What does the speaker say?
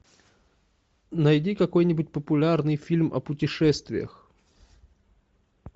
найди какой нибудь популярный фильм о путешествиях